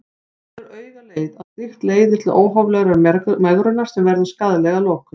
Það gefur augaleið að slíkt leiðir til óhóflegrar megrunar sem verður skaðleg að lokum.